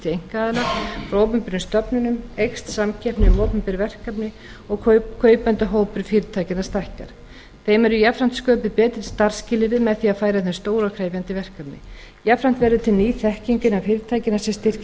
einkaaðila frá opinberum stofnunum eykst samkeppni um opinber verkefni og kaupendahópur fyrirtækjanna stækkar þeim eru jafnframt sköpuð betri starfsskilyrði með því að færa þeim stór og krefjandi verkefni jafnframt verður til ný þekking innan fyrirtækjanna sem styrkir stoðir þeirra til